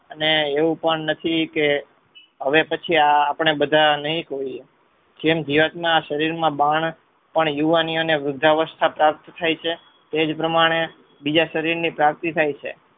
અને એવું પણ નથી કે હવે પછી આપણે બધા નઈ હોયીયે જેમ ધીરજના શરીર માં બાણપણ યુવાની અને વૃદ્ધાવસ્થા પ્રાપ્ત થાય છે. તેજ પ્રમાણે બીજા શરીરની પ્રાપ્તિ થાય છે.